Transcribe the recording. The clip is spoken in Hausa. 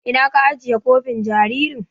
Ina ka ajiye kofin jaririn.